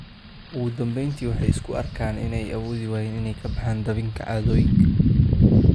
Ugu dambayntii waxay isku arkaan inay awoodi waayeen inay ka baxaan dabinka caadooyinkan.